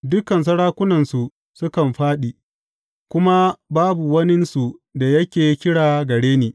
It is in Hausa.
Dukan sarakunansu sukan fāɗi, kuma babu waninsu da yake kira gare ni.